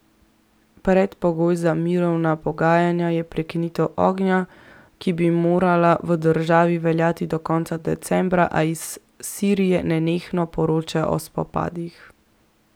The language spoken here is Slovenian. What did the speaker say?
Predpogoj za mirovna pogajanja je prekinitev ognja, ki bi morala v državi veljati od konca decembra, a iz Sirije nenehno poročajo o spopadih.